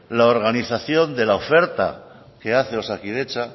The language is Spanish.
la organización de la oferta que hace osakidetza